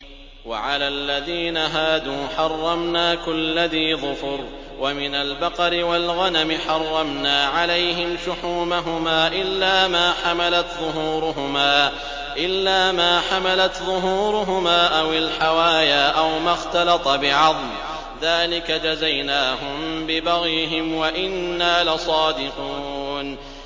وَعَلَى الَّذِينَ هَادُوا حَرَّمْنَا كُلَّ ذِي ظُفُرٍ ۖ وَمِنَ الْبَقَرِ وَالْغَنَمِ حَرَّمْنَا عَلَيْهِمْ شُحُومَهُمَا إِلَّا مَا حَمَلَتْ ظُهُورُهُمَا أَوِ الْحَوَايَا أَوْ مَا اخْتَلَطَ بِعَظْمٍ ۚ ذَٰلِكَ جَزَيْنَاهُم بِبَغْيِهِمْ ۖ وَإِنَّا لَصَادِقُونَ